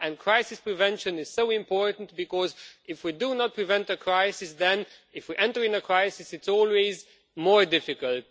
Crisis prevention is so important, because if we do not prevent a crisis, then if we enter into a crisis it's always more difficult.